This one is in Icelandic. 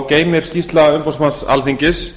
geymir skýrsla umboðsmanns alþingis